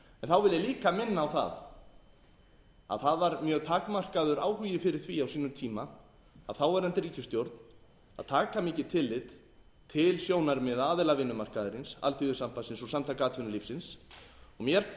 þá vil ég líka minna á það að það var mjög takmarkaður áhugi fyrir því á sínum tíma af þáverandi ríkisstjórn að taka mikið tillit til sjónarmiða aðila vinnumarkaðarins alþýðusambandsins og samtaka atvinnulífisins og mér